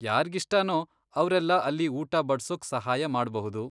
ಯಾರ್ಗಿಷ್ಟನೋ ಅವ್ರೆಲ್ಲ ಅಲ್ಲಿ ಊಟ ಬಡ್ಸೋಕ್ ಸಹಾಯ ಮಾಡ್ಬಹುದು.